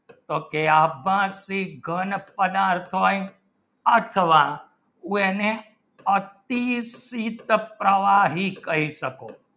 Okay આપ ઘન પદાર્થ શું હોય અથવા અતીત પદાર્થ કહી શકો